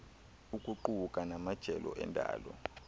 ukuquka namajelo endalo